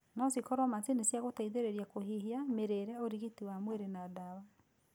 No cikoro macini cia gũteithĩrĩria kũhihia, mĩrĩre, ũrigiti wa mwĩrĩ na ndawa.